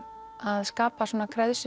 að skapa svona